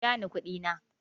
Biya ni kuɗi na.